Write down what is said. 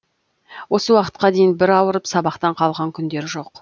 осы уақытқа дейін бір ауырып сабақтан қалған күндері жоқ